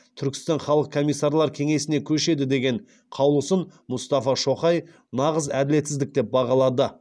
түркістан халық комиссарлар кеңесіне көшеді деген қаулысын мұстафа шоқай нағыз әділетсіздік деп бағалады